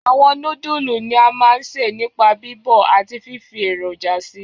Àwọn nódùlù ni a ma n se nipa bíbọ̀ àti fífi èròjà si.